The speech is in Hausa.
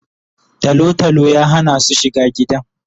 Talo talo ya hana su shiga gidan